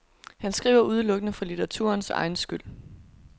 Han skriver udelukkende for litteraturens egen skyld.